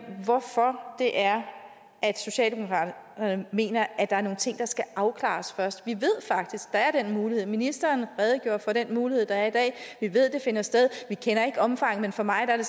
hvorfor det er at socialdemokraterne mener at der er nogle ting der skal afklares først vi ved faktisk der er den mulighed ministeren redegjorde for den mulighed der er i dag vi ved det finder sted vi kender ikke omfanget men for mig er det